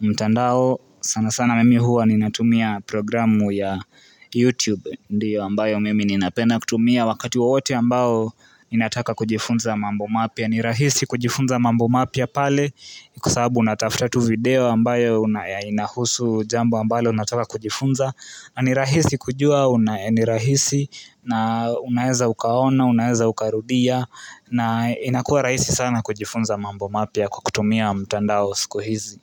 mtandao. Sana sana mimi huwa ninatumia programu ya YouTube ndiyo ambayo mimi ninapenda kutumia. Wakati wowote ambao ninataka kujifunza mambo mapya ni rahisi kujifunza mambo mapya pale. Kwa sababu natafuta tu video ambayo inahusu jambo ambalo nataka kujifunza. Na ni rahisi kujua, ni rahisi na unaeza ukaona, unaeza ukarudia na inakuwa rahisi sana kujifunza mambo mapya kwa kutumia mtandao siku hizi.